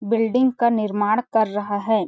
Building का निर्माण कर रहा हैं ।